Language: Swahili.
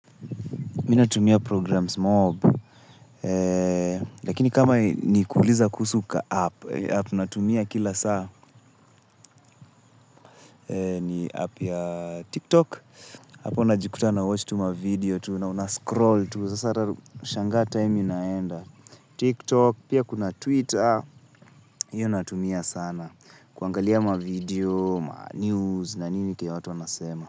Mimi natumia programs mob. Lakini kama ni kuuliza kuhusu kaapp App natumia kila saa. Ni app ya TikTok hapo najikuta nawatch tu mavideo tu. Na unascroll tu sasa hata unashangaa time inaenda. TikTok pia kuna Twitter hiyo natumia sana. Kuangalia mavideo, manews na nini kenye watu wanasema.